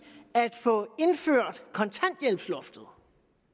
at få indført kontanthjælpsloftet